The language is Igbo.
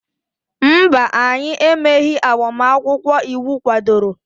mba, anyị emeghị agbamakwụkwọ iwu kwadoro